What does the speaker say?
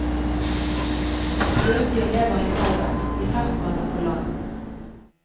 Bløtdyr lever i havet, i ferskvann og på land.